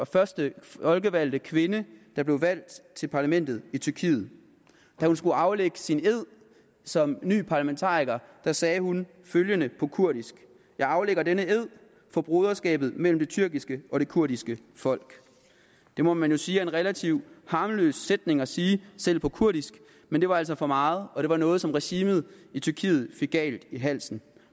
første folkevalgte kvinde der blev valgt til parlamentet i tyrkiet da hun skulle aflægge sin ed som ny parlamentariker sagde hun følgende på kurdisk jeg aflægger denne ed for broderskabet mellem det tyrkiske og kurdiske folk det må man jo sige er en relativt harmløs sætning at sige selv på kurdisk men det var altså for meget og det var noget som regimet i tyrkiet fik galt i halsen